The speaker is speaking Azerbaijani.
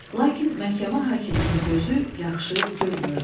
Lakin məhkəmə hakiminin gözü yaxşı görmürdü.